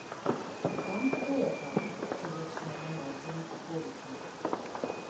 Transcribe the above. Kam potujete, če začnemo malce metaforično?